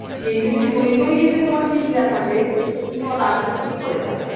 সেই যদি সৈনই যদি তোমার ঠিক না থাকে তো তুমি তোমার রাজত্ব কি করে চালাবে